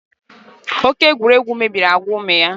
Oke egwuregwu mebiri agwa ụmụ ya